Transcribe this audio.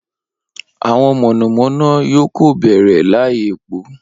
Awọn monomono yoo ko bẹrẹ lai epo